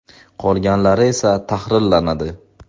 Qolganlari esa tahrirlanadi.